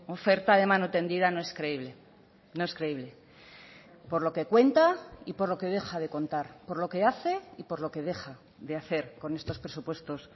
oferta de mano tendida no es creíble no es creíble por lo que cuenta y por lo que deja de contar por lo que hace y por lo que deja de hacer con estos presupuestos